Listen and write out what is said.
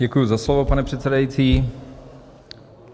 Děkuji za slovo, pane předsedající.